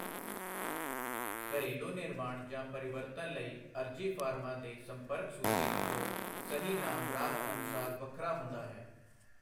ਘਰੇਲੂ ਨਿਰਮਾਣ ਜਾਂ ਪਰਿਵਰਤਨ ਲਈ ਅਰਜ਼ੀ ਫਾਰਮਾਂ ਦੇ ਸੰਪਰਕ ਸੂਚੀ ਲੱਭੋ, ਸਹੀ ਨਾਮ ਰਾਜ ਅਨੁਸਾਰ ਵੱਖਰਾ ਹੁੰਦਾ ਹੈ।